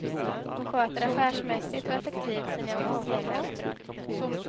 Hon sköter affärsmässigt och effektivt sina officiella uppdrag.